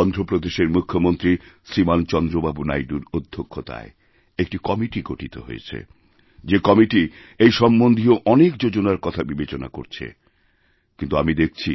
অন্ধ্রপ্রদেশের মুখ্যমন্ত্রী শ্রীমান চন্দ্রবাবু নাইডুর অধ্যক্ষতায় একটিকমিটি গঠিত হয়েছে যে কমিটি এই সম্বন্ধীয় অনেক যোজনার কথা বিবেচনা করছে কিন্তুআমি দেখছি